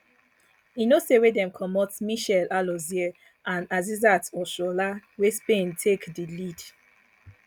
e no tey wey dem comot michelle alozie and asisat oshoala wey spain take di lead